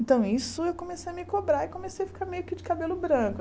Então, isso, eu comecei a me cobrar e comecei a ficar meio que de cabelo branco.